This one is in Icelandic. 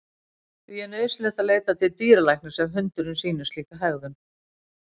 Því er nauðsynlegt að leita til dýralæknis ef hundurinn sýnir slíka hegðun.